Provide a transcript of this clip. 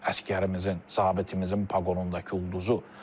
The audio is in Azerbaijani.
Əsgərimizin, zabitimizin paqonundakı ulduzu.